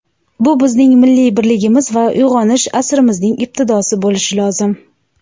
bu bizning milliy birligimiz va uyg‘onish asrimizning ibtidosi bo‘lishi lozim.